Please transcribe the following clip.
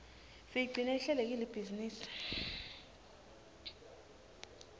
siyigcine ihlelekile ibhizinisi